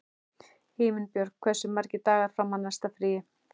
Himinbjörg, hversu margir dagar fram að næsta fríi?